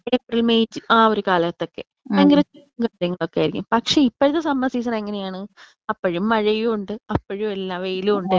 ഇപ്പൊ April May ച് ആ ഒരു കാലത്തൊക്കെ ഭയങ്കര *നോട്ട്‌ ക്ലിയർ* കാര്യങ്ങളൊക്കെയായിയിരിക്കും.പക്ഷെ ഇപ്പഴത്തെ സമ്മർ സീസൺ എങ്ങനെ ആണ് അപ്പഴും മഴയുയുണ്ട് അപ്പഴും എല്ലാ വെയിലും ഉണ്ട്.